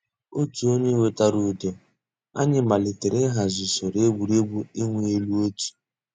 Ọ̀tù ònyè wètàrà ǔ́dọ̀, ànyị̀ màlítè íhàzì ǔsòrò ègwè́régwụ̀ ị̀wụ̀ èlù ọ̀tù.